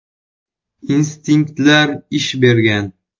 Instinktlar ish bergan.